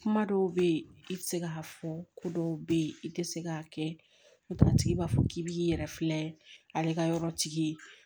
Kuma dɔw bɛ ye i tɛ se k'a fɔ ko dɔw bɛ yen i tɛ se k'a kɛ n'o tɛ a tigi b'a fɔ k'i bɛ k'i yɛrɛ filɛ ale ka yɔrɔtigi ye